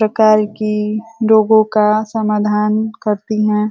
बेकार की लोगो का समाधान करती हैं।